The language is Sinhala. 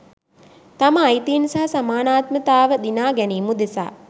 තම අයිතීන් සහ සමානාත්මතාව දිනා ගැනීම උදෙසා